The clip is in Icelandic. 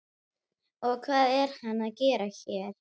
Og hvað er hann að gera hér?